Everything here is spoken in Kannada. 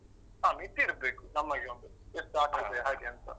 ಹಾ ಮಿತಿ ಇರ್ಬೇಕು, ನಮಗೆ ಒಂದು.ಎಷ್ಟ್ ಆಡ್ತೇವೆ ಹಾಗೆ ಅಂತ.